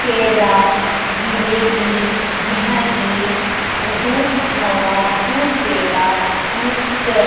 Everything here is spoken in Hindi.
जिलेबी झींगी दुध खोवा दुध पेड़ा मिक्चर --